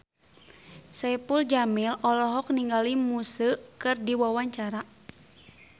Saipul Jamil olohok ningali Muse keur diwawancara